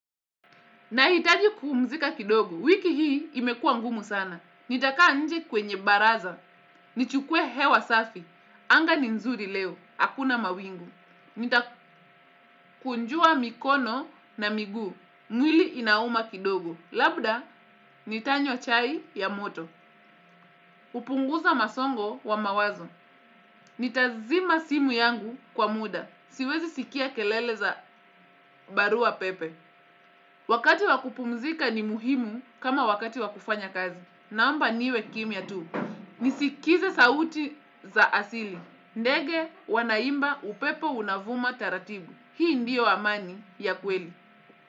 Nahitaji kupumzika kidogo, wiki hii imekuwa ngumu sana. Nitakaa nje kwenye baraza. Nichukue hewa safi. Anga ni nzuri leo. Hakuna mawingu. Nitakunjua mikono na miguu. Mwili inauma kidogo. Labda nitanywa chai ya moto. Upunguza masongo wa mawazo. Nitazima simu yangu kwa muda. Siwezi sikia keleleza barua pepe. Wakati wakupumzika ni muhimu kama wakati wakufanya kazi. Naomba niwe kimia tu. Nisikize sauti za asili. Ndege wanaimba upepo unavuma taratibu. Hii ndio amani ya kweli.